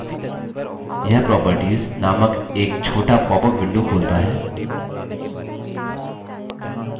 यह properties नामक एक छोटा popup window खोलता है